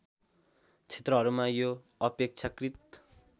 क्षेत्रहरूमा यो अपेक्षाकृत